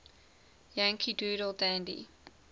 yankee doodle dandy